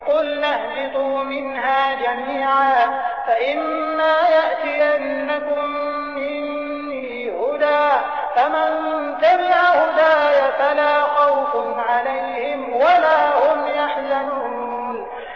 قُلْنَا اهْبِطُوا مِنْهَا جَمِيعًا ۖ فَإِمَّا يَأْتِيَنَّكُم مِّنِّي هُدًى فَمَن تَبِعَ هُدَايَ فَلَا خَوْفٌ عَلَيْهِمْ وَلَا هُمْ يَحْزَنُونَ